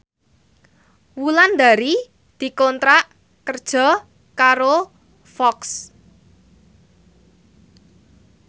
Wulandari dikontrak kerja karo Fox